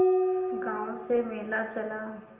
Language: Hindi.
गांव से मेला चला